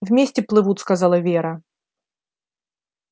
вместе плывут сказала вера